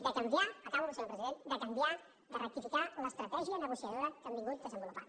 de canviar acabo senyor president de canviar de rectificar l’estratègia negociadora que han vingut desenvolupant